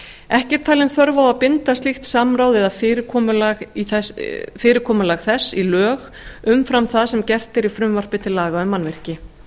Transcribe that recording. ekki er talin þörf á að binda slíkt samráð eða fyrirkomulag þess í lög umfram það sem gert er í frumvarpi til laga um mannvirki